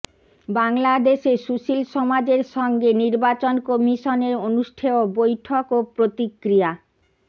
বাংলাদেশে সুশীল সমাজের সঙ্গে নির্বাচন কমিশনের অনুষ্ঠেয় বৈঠক ও প্রতিক্রিয়া